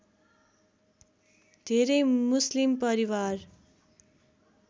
धेरै मुस्लिम परिवार